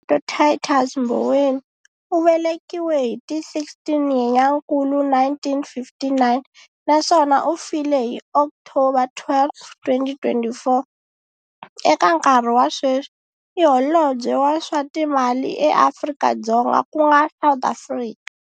Tito Titus Mboweni u velekiwe hi ti 16 Nyenyankulu 1959 naswona u file hi October 12, 2024, eka nkarhi wa sweswi, i Holobye wa swa Timali eAfrika-Dzonga ku nga South Africa.